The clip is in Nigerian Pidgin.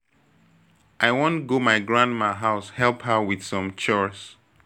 I wan go my grandma house help her with some chores